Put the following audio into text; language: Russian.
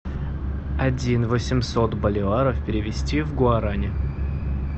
один восемьсот боливаров перевести в гуарани